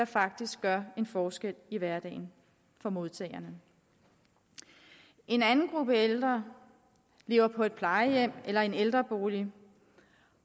faktisk gør en forskel i hverdagen for modtagerne en anden gruppe ældre lever på et plejehjem eller i en ældrebolig